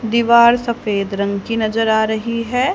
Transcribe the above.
दीवार सफेद रंग की नजर आ रही है।